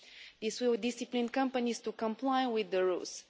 This will discipline companies to comply with the rules.